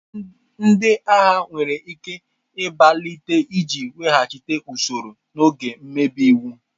Ndị agha nwere ike ịgbalite iji weghachi usoro n'oge mmebi iwu.